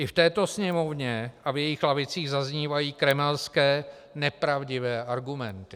I v této Sněmovně a v jejích lavicích zaznívají kremelské nepravdivé argumenty.